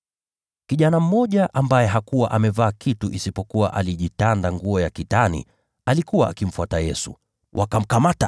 Kijana mmoja, ambaye hakuwa amevaa kitu isipokuwa alijitanda nguo ya kitani, alikuwa akimfuata Yesu. Walipomkamata,